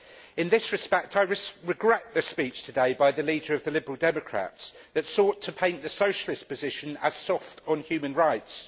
In this respect, I regret the speech today by the leader of the Liberal Democrats that sought to paint the Socialist position as soft on human rights.